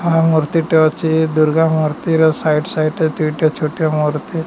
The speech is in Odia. ମୁର୍ତ୍ତିଟେ ଅଛି ଦୁର୍ଗା ମୁର୍ତ୍ତିର ସାଇଡ ସାଇଡରେ ଦିଟା ଛୋଟ ମୁର୍ତ୍ତି --